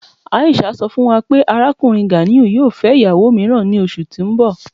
Aisha sọ́ fún wà pé Arákùnrin Ganiu yóò fẹ́ ìyàwó míìràn ní ọṣù tí n bọ̀.